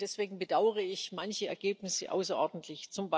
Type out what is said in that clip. Deswegen bedauere ich manche Ergebnisse außerordentlich.